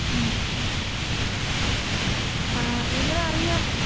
മ്. ങാ, എങ്ങനെ അറിയാം?